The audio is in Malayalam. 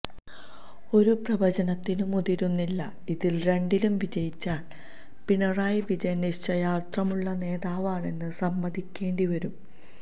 ഒരു പ്രവചനത്തിനും മുതിരുന്നില്ല ഇതിൽ രണ്ടിലും വിജയിച്ചാൽ പിണറായി വിജയൻ നിശ്ചയദാർഡ്യമുള്ള നേതാവാണെന്ന് സമ്മതിക്കേണ്ടി വരും